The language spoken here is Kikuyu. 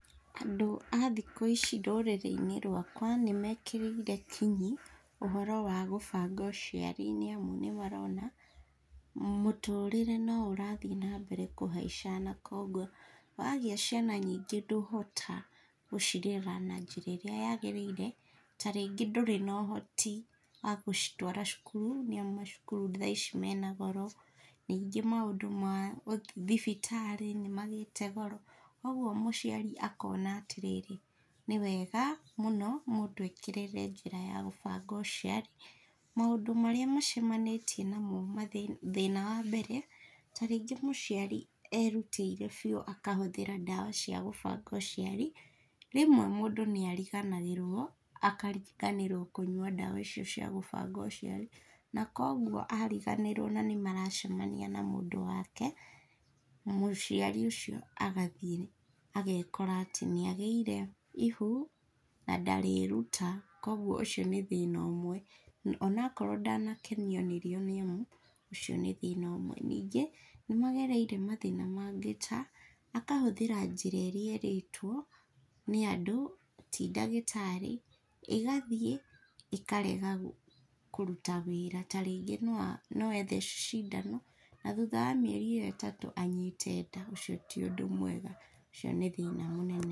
Andũ a thikũ ici rũrĩrĩ-inĩ rwakwa , nĩmekĩrĩire kinyi ũhoro wa gũbanga ũciari nĩ amu, nĩ marona mũtũrĩre no ũrathiĩ na mbere kũhaica no kogwo wagĩa ciana ndũhota gũcirera na njĩra ĩrĩa yagĩrĩire, ta rĩngĩ ndũrĩ na ũhoti wa gũcitwara cukuru nĩ amu, cukuru thaa ici mena goro, nĩngĩ maũndũ ma thibitarĩ nĩmagĩte goro, kugwo mũciari akona atĩ rĩrĩ nĩwega mũno mũndũ ekĩrĩre njĩra ya gũbanga ũciari , maũndũ marĩa macemanĩtie namo thĩna wa mbere, ta rĩngĩ mũciari erutĩire biũ akahũthĩra ndawa cia gũbanga ũciari, rĩmwe mũndũ nĩ ariganagĩrwo akariganĩrwo kũnyua ndawa icio cia gũbanga ũciari , na kogwo ariganĩrwo na nĩ maracemania na mũndũ wake, mũciari ũcio , agathiĩ agekora atĩ nĩ agĩire ihu na ndarĩruta, kugwo ũcio nĩ thĩna ũmwe, ona akorwo ndanakenio nĩ rĩo nĩ amũ, ũcio nĩ thĩna ũmwe, ningĩ nĩmagereire mathĩna mangĩ ta, akahũthĩra njĩra iria erĩtwo nĩ andũ ti ndagĩtarĩ, ĩgathiĩ ĩkarega kũruta wĩra, ta rĩngĩ no ethece cindano, na thuta wa mieri ĩyo ĩtatũ anyite nda, ũcio ti ũndũ mwega, ũcio nĩ thĩna mũnene.